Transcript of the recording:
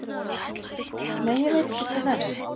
Nei, ég veit ekki til þess